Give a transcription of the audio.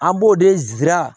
An b'o de zira